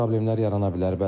Problemlər yarana bilər.